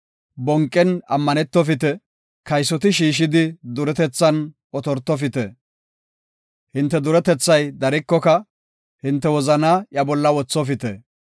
Bonqen ammanetofite; kaysoti shiishidi duretethan otortofite. Hinte duretethay darikoka, hinte wozana iya bolla wothofite.